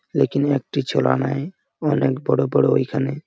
এখানে একটি চোলা নাই অনেক বড়ো বড়ো এইখানে।